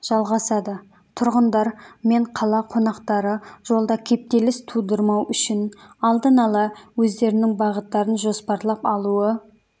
жалғасады тұрғындар мен қала қонақтары жолда кептеліс тудырмау үшін алдын ала өздерінің бағыттарын жоспарлап алуы